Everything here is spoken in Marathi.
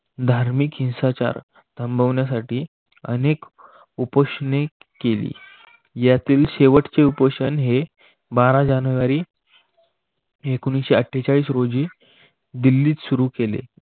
धार्मिक हिंसाचार थांबवण्यासाठी अनेक उपोषणे केली. यातील शेवटचे उपोषण हे बारा जानेवारी एकोणविससेआठेचाळीस रोजी दिल्लीत सुरू केले.